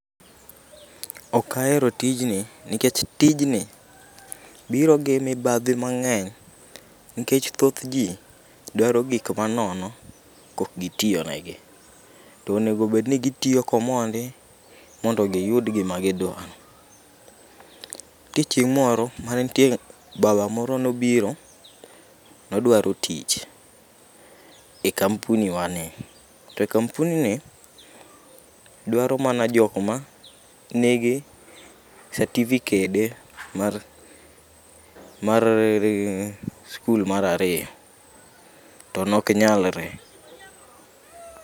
Ok ahero tijni nikech tijni biro gi mibadhi mang'eny nikech thoth jii dwaro gik manono, kok gitiyo ne gi. Tonego bed ni gitiyo komondi mond giyud gima gidwaro. Ntie chieng' mantie moro baba moro manobiro nodwaro tich e kampuni wa ni, to kampuni ni dwaro mana jok ma nigi satifikede mar skul mar ariyo to nok nyalre